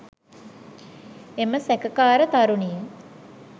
එම සැකකාර තරුණිය